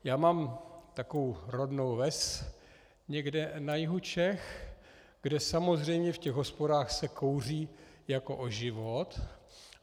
Já mám takovou rodnou ves někde na jihu Čech, kde samozřejmě v těch hospodách se kouří jako o život.